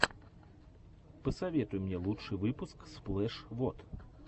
посоветуй мне лучший выпуск сплэш вот